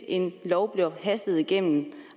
en lov bliver hastet igennem